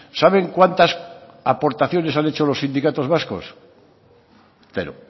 saben cuántas aportaciones han hecho los sindicatos vascos cero